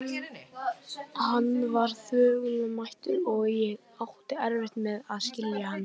Hann var þvoglumæltur, og ég átti erfitt með að skilja hann.